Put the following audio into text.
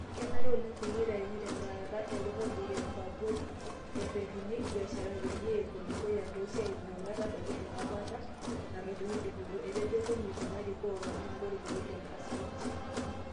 Kenaare oleng peyie eitayuni telaata e kodi e aborii, eretuni ibiasharani peyie epu dukuya toosiatin ometabaki enkapata natodua dupoto", etejo komiiti narikoo olopeny olorika William Kassait.